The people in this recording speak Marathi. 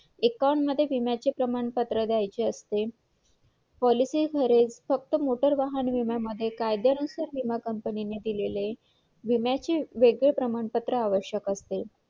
अ अ example अ तुझ्या ओळखीतून असू शकत असा